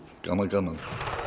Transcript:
gaman gaman